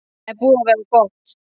Það er búið að vera gott.